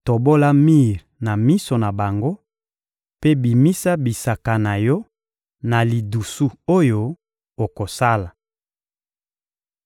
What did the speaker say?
Tobola mir na miso na bango mpe bimisa bisaka na yo na lidusu oyo okosala.